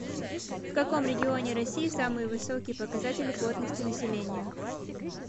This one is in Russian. в каком регионе россии самые высокие показатели плотности населения